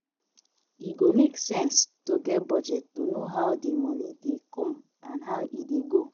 E go make sense to get budget to know how di moni dey come and how e dey go